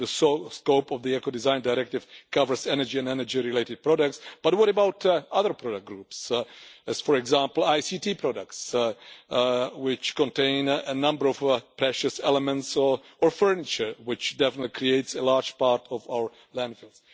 The sole scope of the Ecodesign Directive covers energy and energy related products, but what about other product groups, for example ICT products, which contain a number of precious elements, or furniture, which definitely creates a large part of our landfill?